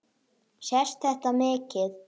Sést þetta mikið?